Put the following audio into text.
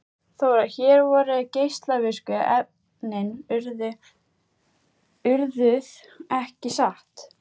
Þóra: Hér voru geislavirku efnin urðuð, ekki satt?